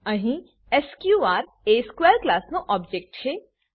અહીં એસક્યુઆર એ સ્ક્વેર ક્લાસનો ઓબજેક્ટ છે